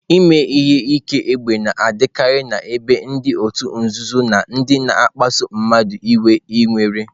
Ime ihe ike égbè na-adịkarị n'ebe ndị òtù nzuzo na ndị na-akpasu mmadụ iwe nwere.